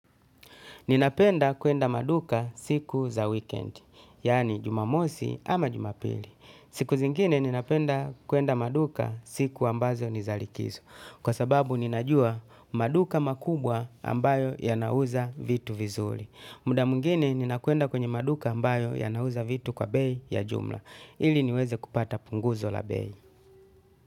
Ninapenda kuenda maduka siku za weekend, yaani Jumamosi ama Jumapili. Siku zingine ninapenda kuenda maduka siku ambazo ni za likizo. Kwa sababu ninajua maduka makubwa ambayo yanauza vitu vizuri. Muda mwingine ninakwenda kwenye maduka ambayo yanauza vitu kwa bei ya jumla. Ili niweze kupata punguzo la bei.